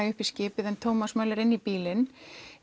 upp í skipið en Thomas Möller inn í bílinn